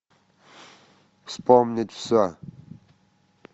вспомнить все